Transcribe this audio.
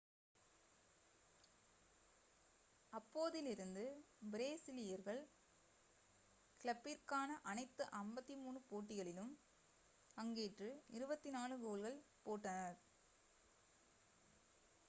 அப்போதிலிருந்து பிரேசீலியர்கள் கிளப்பிற்கான அனைத்து 53 போட்டிகளிலும் பங்கேற்று 24 கோல்கள் போட்டனர்